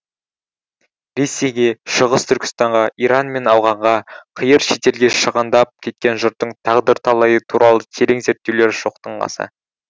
ресейге шығыс түркістанға иран мен ауғанға қиыр шетелге шығандап кеткен жұрттың тағдыр талайы туралы терең зерттеулер жоқтың қасы